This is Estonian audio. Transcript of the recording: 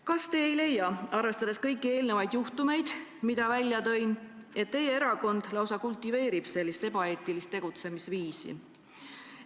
Kas te ei leia, arvestades neid juhtumeid, mis ma välja tõin, et teie erakond lausa kultiveerib ebaeetilist tegutsemisviisi?